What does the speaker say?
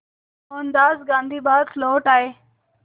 मोहनदास गांधी भारत लौट आए